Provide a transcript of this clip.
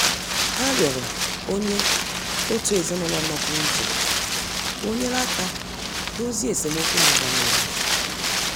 Ha rịọrọ onye otu ezinụlọ nọpụrụ iche ka o nyere aka dozie esemokwu na-aga n'ihu.